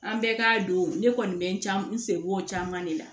An bɛɛ ka don ne kɔni bɛ can n sen b'o caman de la